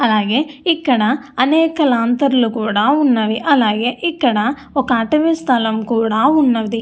అలాగే ఇక్కడ అనేక లాంతర్లు ఉన్నవి అలాగే ఇక్కడ ఒక అటవి స్థలం కూడా ఉన్నది.